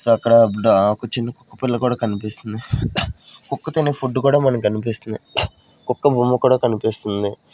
So అక్కడ డా ఒక చిన్న కుక్క పిల్ల కూడా కనిపిస్తుంది కుక్క తినే ఫుడ్ కూడా మనకి కనిపిస్తుంది కుక్క బొమ్మ కూడా కనిపిస్తుంది.